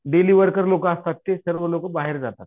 Daily worker लोकं असतात ते सर्व लोकं बाहेर जातात.